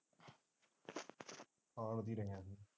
ਹਾਂ ਉਦੋਂ ਹੀ ਰਹਿ ਹਾਂ ਅਸੀਂ।